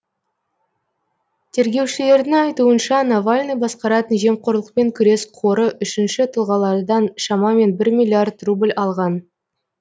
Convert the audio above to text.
тергеушілердің айтуынша навальный басқаратын жемқорлықпен күрес қоры үшінші тұлғалардан шамамен бір миллиард рубль алған